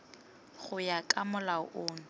go ya ka molao ono